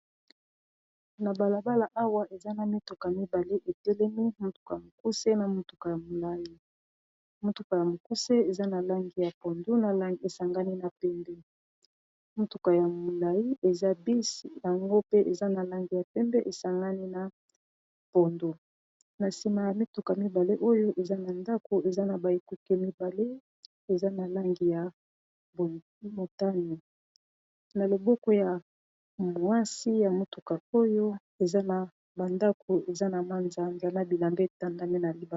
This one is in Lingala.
na balabala awa eza na mituka mibale etelemi motuka ya mokusena motukaya molai motuka ya mokuse eza na langi ya pondo na langi esangani na pembe motuka ya molai eza bisi yango pe eza na langi ya pembe esangani na pondo na nsima ya mituka mibale oyo eza na ndako eza na ba ekoke mibale eza na langi ya motana na loboko ya mwasi ya motuka oyo eza na bandako eza na manzambana bilambe etandami na libai